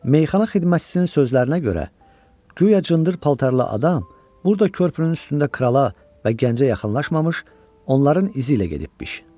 Meyxana xidmətçisinin sözlərinə görə, güya cındır paltarlı adam burada körpünün üstündə krala və gəncə yaxınlaşmamış, onların izi ilə gedibmiş.